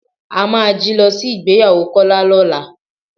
A máa jí lọ sí ìgbéyàwó Kọ́lá lọ́la.